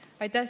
Aitäh!